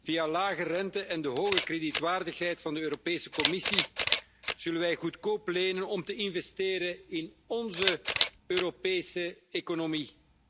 Via lage rente en de hoge kredietwaardigheid van de Europese Commissie zullen wij goedkoop lenen om te investeren in onze Europese economie.